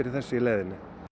þessu í leiðinni